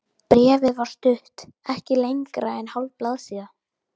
Bréfið var stutt, ekki lengra en hálf blaðsíða.